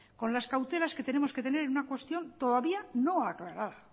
con las cautelas que tenemos que tener en una cuestión todavía no aclarada